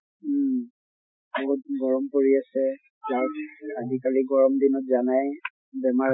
উম আগত্কে গৰম পৰি আছে আজি কালি গৰম দিনত জানাই বেমাৰ